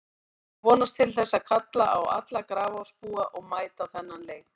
Ég vonast til þess og kalla á alla Grafarvogsbúa að mæta á þennan leik.